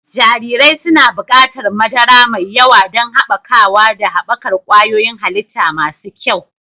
Jarirai suna buƙatar madara mai yawa don haɓakawa da haɓakar ƙwayoyin halitta masu kyau.